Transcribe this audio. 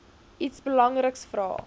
iets belangriks vra